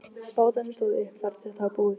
Bátarnir stóðu uppi þar til þetta var búið.